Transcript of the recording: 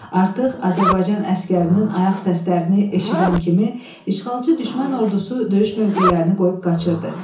Artıq Azərbaycan əsgərinin ayaq səslərini eşidən kimi işğalçı düşmən ordusu döyüş mövqelərini qoyub qaçırdı.